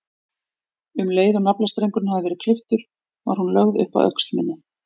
Um leið og naflastrengurinn hafði verið klipptur var hún lögð upp að öxl minni.